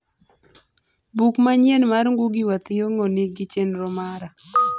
buk manyien mar ngugi wa thiongo nigi chenro mara